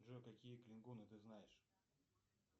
джой какие клингоны ты знаешь